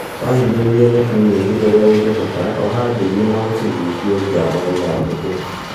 Wahinyĩrĩria nyeki nyingĩ urĩa ũngĩahota, oha ndigi na ũcigushie nja wa ithandũkũ